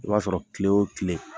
I b'a sɔrɔ kile o kile